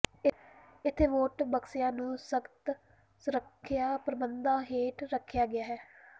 ਇੱਥੇ ਵੋਟ ਬਕਸਿਆਂ ਨੂੰ ਸਖਤ ਸੁਰੱਖਿਆ ਪ੍ਰਬੰਧਾਂ ਹੇਠ ਰੱਖਿਆ ਗਿਆ ਹੈ